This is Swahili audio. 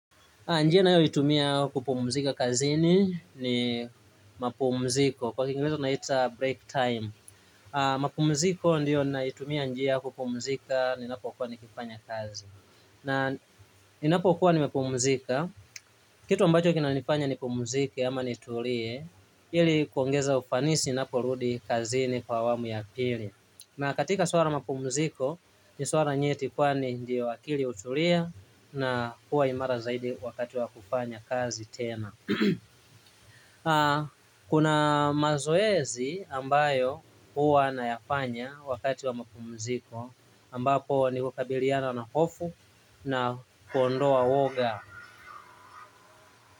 Njia ninayoitumia kupumzika kazini ni mapumziko kwa kingereza unaita break time. Mapumziko ndio naitumia njia ya kupumzika ninapokuwa nikifanya kazi. Na ninapokuwa nimepumzika, kitu ambacho kinanifanya nipumziki ama nitulie, ili kuongeza ufanisi ninapo rudi kazini kwa awamu ya pili. Na katika swala la mapumziko ni swala nyeti kwani ndio akili hutulia na huwa imara zaidi wakati wa kufanya kazi tena. Kuna mazoezi ambayo huwa nayafanya wakati wa mapumziko ambapo ni kukabiliana na hofu na kuondoa uoga.